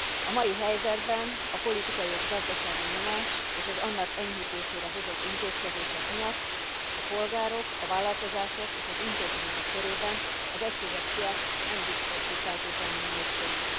A mai helyzetben a politikai és gazdasági nyomás és az annak enyhítésére hozott intézkedések miatt a polgárok, a vállalkozások és az intézmények körében az egységes piac nem biztos, hogy feltétlenül népszerű.